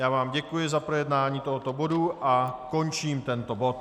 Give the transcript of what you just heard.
Já vám děkuji za projednání tohoto bodu a končím tento bod.